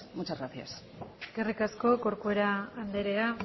muchas gracias eskerrik asko corcuera andrea